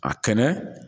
A kɛnɛ